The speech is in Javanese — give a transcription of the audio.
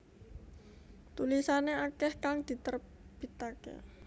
Tulisane akeh kang diterbitake